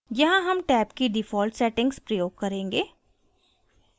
यहाँ हम टैब की default settings प्रयोग करेंगे